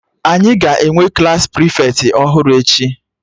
Anyị ga-enwe Klassị prịfeti ọhụrụ echi